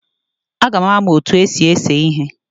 Aga m amu otu esi ese ihe